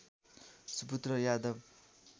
सुपुत्र यादव